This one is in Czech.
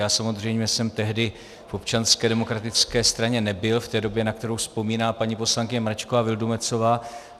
Já samozřejmě jsem tehdy v Občanské demokratické straně nebyl v té době, na kterou vzpomíná paní poslankyně Mračková Vildumetzová.